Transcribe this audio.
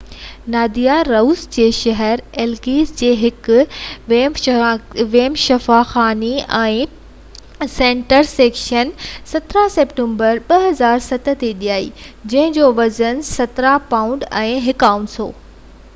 ناديا روس جي شهر ايليسڪ جي هڪ ويم شفاخاني ۾ سيزرين سيڪشن جي جي ذريعي 17 سيپٽمبر 2007 تي ڄائي جنهن جو وزن 17 پائونڊ ۽ 1 اونس هو